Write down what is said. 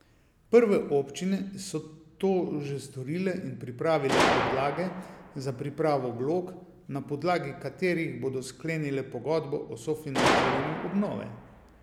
Prve občine so to že storile in pripravile podlage za pripravo vlog, na podlagi katerih bodo sklenile pogodbo o sofinanciranju obnove.